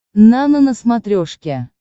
нано на смотрешке